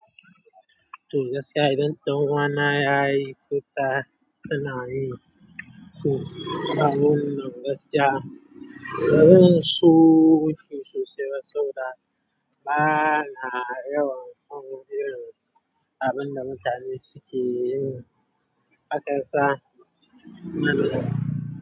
Toh gaskiya idan ɗan uwana yayi ko tana yi toh, kuma muna gaskiya, wurin so shi sosai ba saboda, bana yawan san irin abin da mutane suke yi. Hakansa nan da.